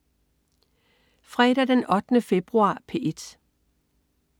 Fredag den 8. februar - P1: